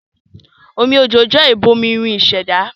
Omi òjò jẹ́ ìbomirin ìṣẹ̀dá